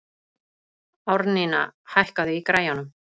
Árnína, hækkaðu í græjunum.